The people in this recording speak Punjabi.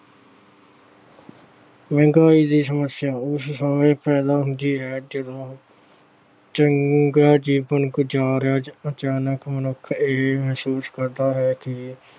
ਮਹਿੰਗਾਈ ਦੀ ਸਮੱਸਿਆ ਉਸ ਸਮੇਂ ਪੈਦਾ ਹੁੰਦੀ ਹੈ ਜਦੋਂ ਚੰਗਾ ਜੀਵਨ ਗੁਜਾਰ ਰਿਹਾ ਅਚਾਨਕ ਮਨੁੱਖ ਇਹ ਮਹਿਸੂਸ ਕਰਦਾ ਹੈ ਕਿ